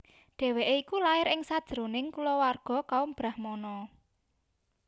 Dhèwèké iku lair ing sajroning kulawarga kaum brahmana